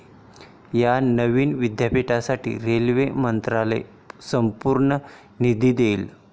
या नवीन विद्यापीठासाठी रेल्वे मंत्रालय संपूर्ण निधी देईल.